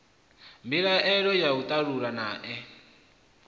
mbilaelo yo tandululwa naa ee